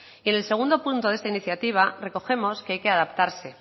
en el segundo punto de esta iniciativa recogemos que hay que adaptarse